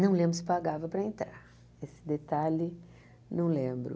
Não lembro se pagava para entrar, esse detalhe não lembro.